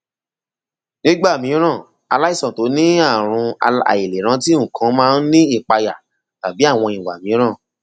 nígbà mìíràn aláìsàn tó ní ààrùn àìlèrántí nǹkan máa ń ní ìpayà tàbí àwọn ìwà mìíràn